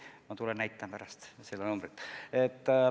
Ma näitan teile pärast seda numbrit.